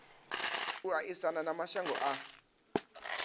u aisana na mashango a